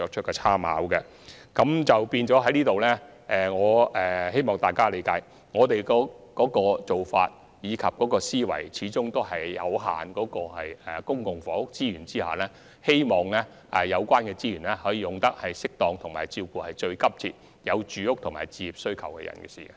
因此，在這方面，希望大家理解我們的做法及思維，因為在公共房屋資源有限的情況下，我們始終希望有關資源可運用得宜，以照顧有最急切住屋和置業需求的人士。